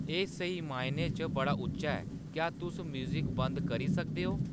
एह् स्हेई मायने च बड़ा उच्चा ऐ क्या तुस म्यूज़िक बंद करी सकदे ओ